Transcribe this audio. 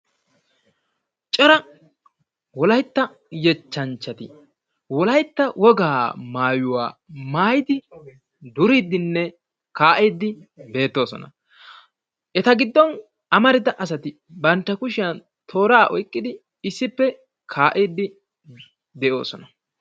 Cora wolaytta yettanchchati Wolaytta woga maayyuwa maayyidi duridinne kaa"idi beettoosona. Eta giddon amaarida aati bantta giddon toora oyqqidi issippe duridinne kaa'ide de'oosona.